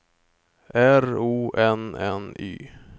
R O N N Y